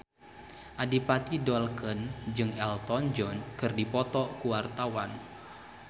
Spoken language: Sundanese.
Adipati Dolken jeung Elton John keur dipoto ku wartawan